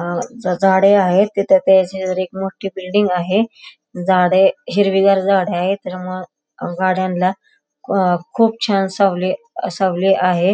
अह झाडे आहेत तिथे त्याच्या शेजारी एक मोठी बिल्डिंग आहे झाडे हिरवीगार झाडे आहे त्याच्यामुळे अ गाड्यांना खु खूप छान सावली अ सावली आहे.